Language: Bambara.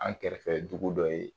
An kɛrɛfɛ dugu dɔ ye